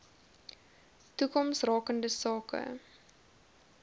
toekoms rakende sake